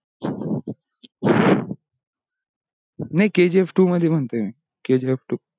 नाही kgftwo मध्ये म्हणतोये मी kgftwo